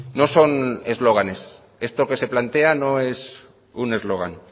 no son eslóganes esto que se plantea no es un eslogan